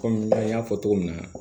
Kɔmi an y'a fɔ cogo min na